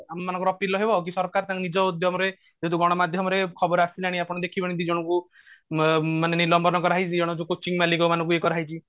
ଆମମାନଙ୍କର ଅପିଲ ହବ କି ସରକାର ତାଙ୍କ ନିଜ ଉଦ୍ୟମରେ ଗଣମାଧ୍ୟମରେ ଖବର ଆସିଲାଣି ଆପଣ ଦେଖିବେଣୀ ଦିଜଣଙ୍କୁ ମ କରାହେଇଛି